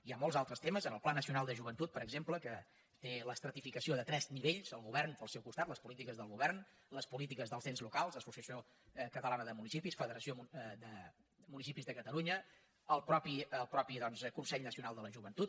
hi ha molts altres temes en el pla nacional de joventut per exemple que té l’estratificació de tres nivells el govern pel seu costat les polítiques del govern les polítiques dels ens locals l’associació catalana de municipis federació de municipis de catalunya el mateix consell nacional de la joventut